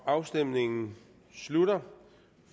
afstemningen slutter